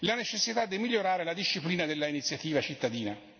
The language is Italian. la necessità di migliorare la disciplina dell'iniziativa dei cittadini.